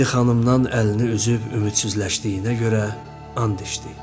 Rinaldi xanımdan əlini üzüb ümidsizləşdiyinə görə and içdi.